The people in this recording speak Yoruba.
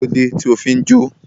Kílódé tí o fi jó?